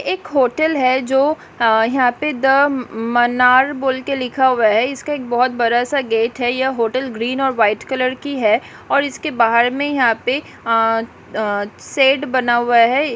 एक होटल है जो हा यहां पे दा म मनार बोल के लिखा हुआ है इसका एक बहुत बड़ा-सा गेट है यह होटल ग्रीन और वाइट कलर की है और इसके बाहर में यहाँ पे अ-अ शेड बना हुआ है।